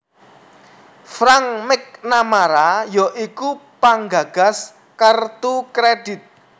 Frank McNamara ya iku penggagas kertu kredhit